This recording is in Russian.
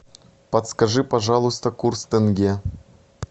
подскажи пожалуйста курс тенге